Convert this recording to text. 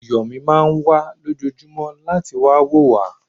Yọ̀mí máà ń wá lójoojúmọ́ láti wá wo wa